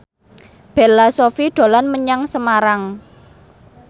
Bella Shofie dolan menyang Semarang